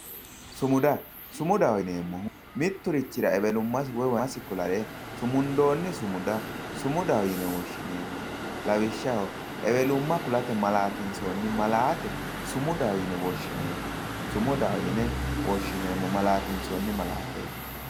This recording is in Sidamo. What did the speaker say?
sumuda sumudaho yineemmohu mitturichira ewelumma woy maymasi kulannoha sumundoonni sumuda sumudaho yine woshshineemmo lawishshaho ewelumma kulate maalaatinsoonni malaate sumudaho yine woshshineemmo sumudaho yine woshshineemmo maaalaateeti